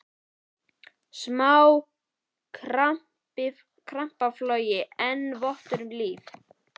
Smá krampaflog eini votturinn um líf.